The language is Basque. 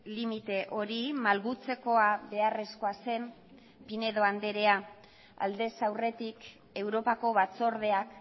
limite hori malgutzekoa beharrezkoa zen pinedo andrea aldez aurretik europako batzordeak